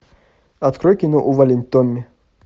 открой кино увалень томми